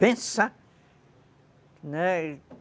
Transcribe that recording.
Pensar, né.